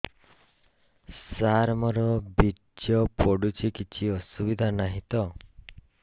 ସାର ମୋର ବୀର୍ଯ୍ୟ ପଡୁଛି କିଛି ଅସୁବିଧା ନାହିଁ ତ